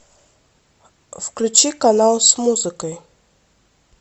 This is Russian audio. включи канал с музыкой